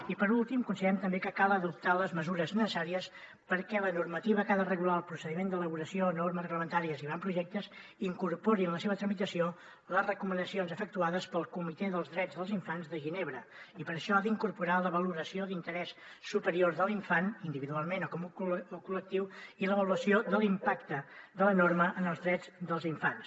i per últim considerem també que cal adoptar les mesures necessàries perquè la normativa que ha de regular el procediment d’elaboració normes reglamentàries i avantprojectes incorpori en la seva tramitació les recomanacions efectuades pel comitè dels drets dels infants de ginebra i per això ha d’incorporar la valoració d’interès superior de l’infant individualment o com a col·lectiu i l’avaluació de l’impacte de la norma en els drets dels infants